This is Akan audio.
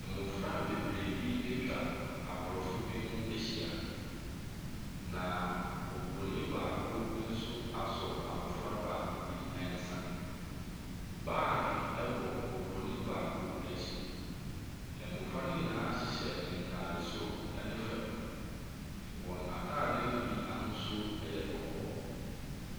Mmɔfra bebree bi atwa Aborɔfo bi ho ahyia, na Obronin baako nso asɔ abɔfra baako bi nsa. Baage bɔ Bronin baako akyi. Mmɔfra no nyinaa hyehyɛ ntaade soro ne fam. Wɔn atadeɛ no bi ahosuo yɛ kɔkɔɔ.